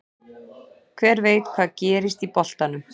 Hver veit hvað gerist í boltanum?